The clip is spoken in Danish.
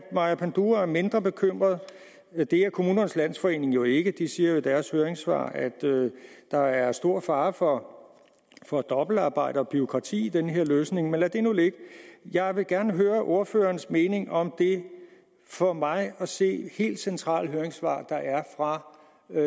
maja panduro er mindre bekymret det er kommunernes landsforening jo ikke de siger i deres høringssvar at der er stor fare for for dobbeltarbejde og bureaukrati i den her løsning lad det nu ligge jeg vil gerne høre ordførerens mening om det for mig at se helt centrale høringssvar der er fra